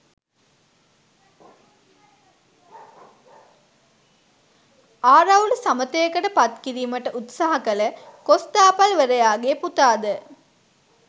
ආරවුල සමථයකට පත්කිරීමට උත්සහ කළ කොස්තාපල්වරයාගේ පුතා ද